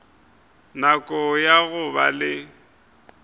nako ya go ba le